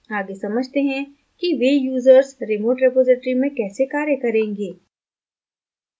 आगे समझते हैं कि वे users remote repository में कैसे कार्य करेंगे